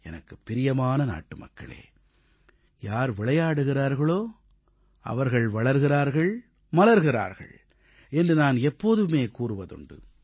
எனது பேரன்பிற்குரிய நாட்டுமக்களே யார் விளையாடுகிறார்களோ அவர்கள் வளர்கிறார்கள் மலர்கிறார்கள் என்று நான் எப்போதுமே கூறுவதுண்டு